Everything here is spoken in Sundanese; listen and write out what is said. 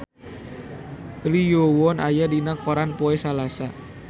Lee Yo Won aya dina koran poe Salasa